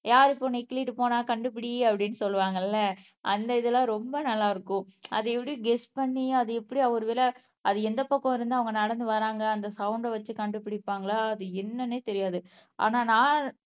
யாரு இப்ப உன்னை கிள்ளிட்டு போனா கண்டுபிடி அப்படின்னு சொல்லுவாங்கல்ல அந்த இதெல்லாம் ரொம்ப நல்லா இருக்கும். அத எப்படி கெஸ் பண்ணி அத எப்படி ஒரு வேல அது எந்த பக்கம் இருந்து அவங்க நடந்து வராங்க அந்த சவுண்ட் வச்சு கண்டுபிடிப்பாங்களா அது என்னன்னே தெரியாது ஆனா நான்